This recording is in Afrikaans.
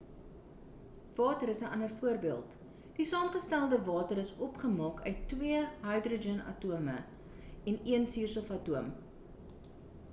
water is 'n ander voorbeeld die saamgestelde water is opgemaak uit twee hydrogen atome en een suurstof atom